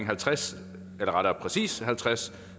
halvtreds halvtreds